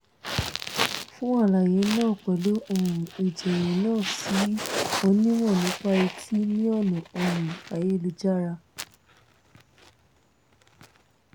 fún àlàyé náà pẹ̀lú um ìjọ́yé náà sí onímọ̀ nípa etí ní ọ̀nà um ayélujára --> https://www